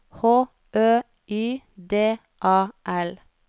H Ø Y D A L